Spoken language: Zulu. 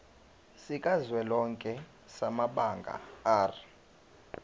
sikazwelonke samabanga r